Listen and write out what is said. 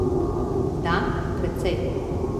Da, precej.